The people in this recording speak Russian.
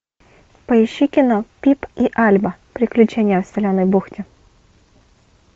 поищи кино пип и альба приключения в соленой бухте